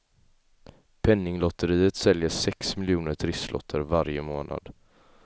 Penninglotteriet säljer sex miljoner trisslotter varje månad.